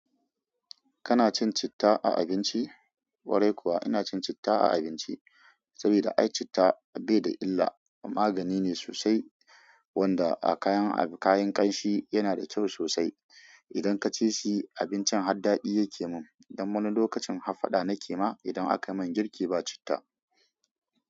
Kana cin citta a abinci? Kwarai kuwa ina cin citta a abinci. Sabida ai citta bai da illa magani ne sosai. Wanda a kayan kayan ƙanshi yana da kyau sosai. Idan ka ci shi abincin har daɗi yake mun. Don wani lokacin hafaɗa nake ma idan aka yi min girki ba citta.